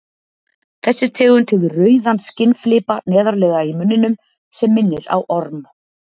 þessi tegund hefur rauðan skinnflipa neðarlega í munninum sem minnir á orm